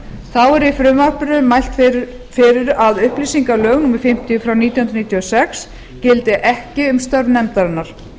er í frumvarpinu mælt svo fyrir að upplýsingalög númer fimmtíu nítján hundruð níutíu og sex gildi ekki um störf nefndarinnar